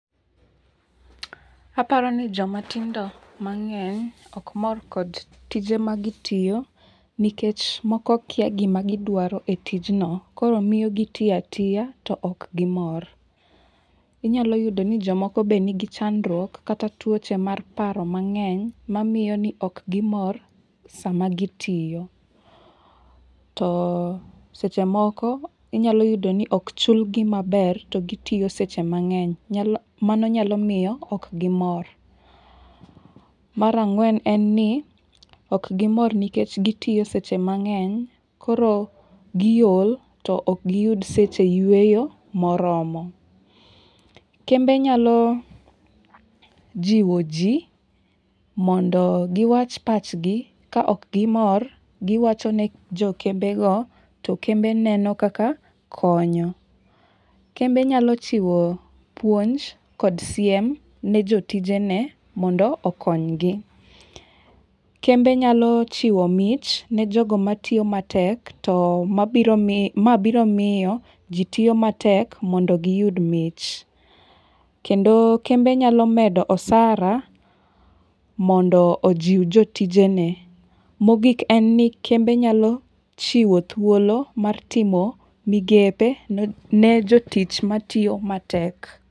Aparo ni jomatindo mang'eny ok mor kod tije magitiyo nikech moko kia gimagidwaro e tijno koro miyo gitiyo atiya e tijno to ok gimor. Inyalo yudo ni jomoko be nigi chandruok kata tuoche mar paro mang'eny mamiyo ni ok gimor sama gitiyo. To seche moko inyalo yudo ni ok chulgi maber to gitiyo seche mang'eny, mano nyalo miyo ok gimor. Mar ang'wen en ni ok gimor nikech gitiyo seche mang'eny koro giol to ok giyud seche yueyo moromo. Kembe nyalo jiwo ji mondo giwach pachgi ka ok gimor giwacho ne jokembe go to kembe neno kaka konyo. Kembe nyalo chiwo puonj kod siem ne jotijene mondo okonygi. Kembe nyalo chiwo mich ne jogo matiyo matek to ma biro miyo ji tiyo matek mondo giyud mich. Kendo kembe nyalo medo osara mondo ojiw jotijene. Mogik en ni kembe nyalo chiwo thuolo mar timo migepe ne jotich matiyo matek.